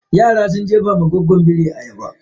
Yaran sun jefawa goggon biri ayaba.